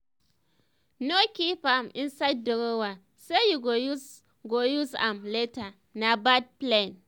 no keep am inside drawer say you go use go use am later na bad plan.